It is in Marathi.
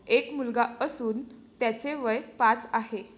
एक मुलगा असून त्याचे वय पाच आहे.